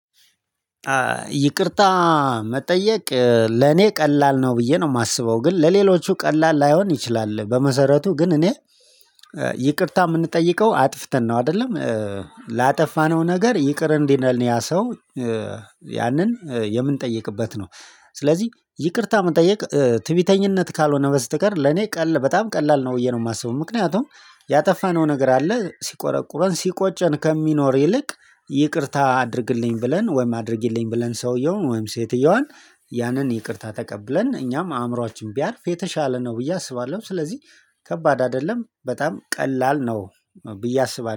ይቅርታ መጠየቅ ለኔ ቀላል ነው ብዬ ነው የማስበው ግን ለሌሎቹ ቀላል ላይሆን ይችላል። በመሰረቱ ግን እኔ ይቅርታ የምንጠይቀው አጥፍተን ነው አይደለም ላጠፋነው ነገር ይቅር እንዲለን ያ ሰው ያንን የምንጠይቅበት ነው። ስለዚህ ይቅርታ መጠየቅ ትዕቢተኝነት ካልሆነ በስተቀር ለኔ ቀላ በጣም ቀላል ነው ብዬ ነው የማስበው። ምክንያቱም ያጠፋነው ነገር አለ ሲቆረቁረን ሲቆጨን ከሚኖር ይልቅ ይቅርታ አድርግልኝ ብለን ወይም አድርጊልኝ ብለን ሰውየውን ወይም ሴትየዋን ያንን ይቅርታ ተቀብለን እኛም አእምሮአችን ቢያርፍ የተሻለ ነው ብዬ አስባለሁ። ስለዚህ ከባድ አይደለም በጣም ቀላል ነው። ብዬ አስባለሁ